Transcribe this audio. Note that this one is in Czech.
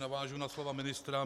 Navážu na slova ministra.